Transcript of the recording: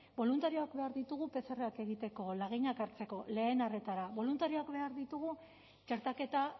boluntarioak behar ditugu pcrak egiteko laginak hartzeko lehen arretara boluntarioak behar ditugu txertaketa